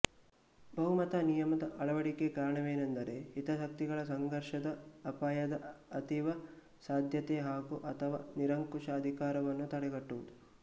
ಬಹುಮತ ನಿಯಮದ ಅಳವಡಿಕೆಗೆ ಕಾರಣವೇನೆಂದರೆ ಹಿತಾಸಕ್ತಿಗಳ ಸಂಘರ್ಷದ ಅಪಾಯದ ಅತೀವ ಸಾಧ್ಯತೆ ಹಾಗೂಅಥವಾ ನಿರಂಕುಶ ಅಧಿಕಾರವನ್ನು ತಡೆಗಟ್ಟುವುದು